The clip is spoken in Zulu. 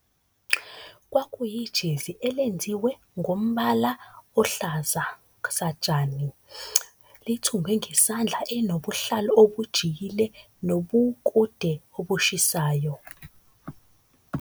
Kwakuyijezi elenziwe ngombala ohlaza satshani, lithungwe ngesandla elinobuhlalu obujikile, nobukude obushisayo.